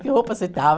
Que roupa você estava?